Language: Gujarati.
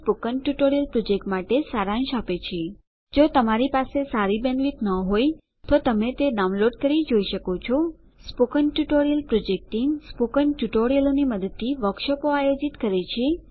તે સ્પોકન ટ્યુટોરીયલ પ્રોજેક્ટ માટે સારાંશ આપે છે જો તમારી પાસે સારી બેન્ડવિડ્થ ન હોય તો તમે તે ડાઉનલોડ કરી જોઈ શકો છો spoken tutorial project team spoken ટ્યુટોરીયલોની મદદથી વર્કશોપો આયોજિત કરે છે